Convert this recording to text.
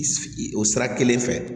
I o sira kelen fɛ